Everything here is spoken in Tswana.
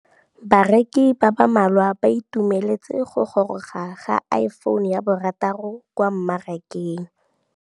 Bareki ba ba malwa ba ituemeletse go gôrôga ga Iphone6 kwa mmarakeng.